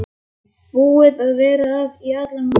Búin að vera að í allan morgun.